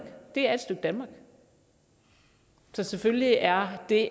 det er et stykke danmark selvfølgelig er det